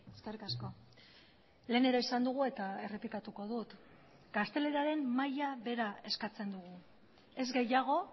eskerrik asko lehen ere esan dugu eta errepikatuko dut gazteleraren maila behera eskatzen dugu ez gehiago